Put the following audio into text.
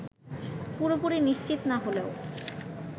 পুরোপুরি নিশ্চিত না হলেও